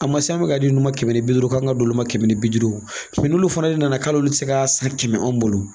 A kun ma se an ka di ninnu ma kɛmɛ ni bi duru k'an k'a d'olu ma kɛmɛ ni bi duuru wo n'olu fana nana k'ali olu ti se k'a san kɛmɛ anw bolo.